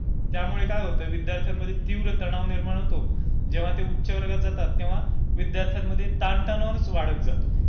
त्यामुळे काय होतय की विद्यार्थ्यांमध्ये जो तीव्र तणाव निर्माण होतो जेव्हा ते उच्च वर्गात जातात तेव्हा विद्यार्थ्यांमध्ये ताण तणाव वाढत जातो.